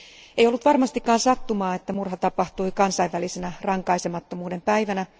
Ei ollut varmastikaan sattumaa, että murha tapahtui kansainvälisenä rankaisemattomuuden päivänä.